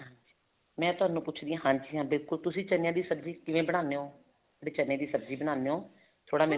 ਮੈਂ ਤੁਹਾਨੂੰ ਪੁੱਛਦੀ ਹਾਂ ਹਾਂਜੀ ਹਾਂ ਬਿਲਕੁਲ ਤੁਸੀਂ ਚਨਿਆ ਦੀ ਸਬਜ਼ੀ ਕਿਵੇਂ ਬਣਾਦੇ ਹੋ ਜਿਹੜੀ ਚਨੇ ਦੀ ਸਬਜ਼ੀ ਬਣਾਦੇ ਹੋ ਥੋੜਾ